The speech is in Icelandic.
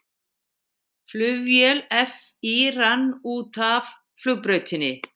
Flugvél FÍ rann út af flugbraut